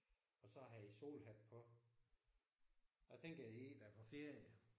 Og så har han solhat på. Jeg tænker det er en der er på ferie